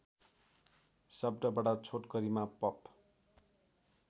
शब्दबाट छोटकरिमा पप